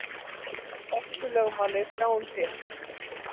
Orkulögmálið sá um sitt.